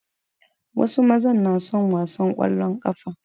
Wasu mazan na son wasan ƙwallon ƙafa.